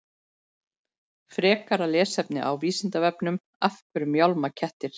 Frekara lesefni á Vísindavefnum Af hverju mjálma kettir?